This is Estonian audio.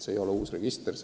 See ei ole uus register.